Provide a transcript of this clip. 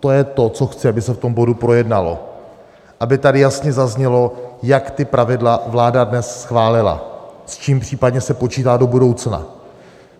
To je to, co chci, aby se v tom bodu projednalo, aby tady jasně zaznělo, jak ta pravidla vláda dnes schválila, s čím případně se počítá do budoucna.